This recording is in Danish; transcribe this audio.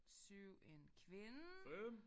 7 en kvinde